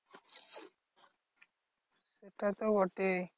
সেটা তো বটেই।